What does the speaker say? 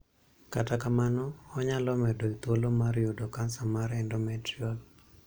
Kata kamano, onyalo medo thuolo mar yudo kansa mar 'endometrial'.